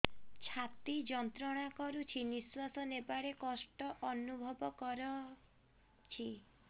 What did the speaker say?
ଛାତି ଯନ୍ତ୍ରଣା କରୁଛି ନିଶ୍ୱାସ ନେବାରେ କଷ୍ଟ ଅନୁଭବ କରୁଛି